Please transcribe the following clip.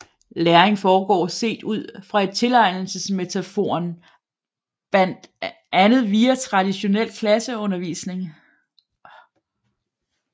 Læring foregår set ud fra tilegnelsesmetaforen bandt andet via traditionel klasseundervisning